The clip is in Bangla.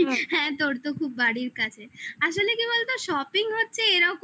হ্যাঁ তোর তো খুব বাড়ির কাছে. আসলে কি বলতো shopping হচ্ছে এরকমই